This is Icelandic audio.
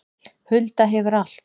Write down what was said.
Hulda hefur allt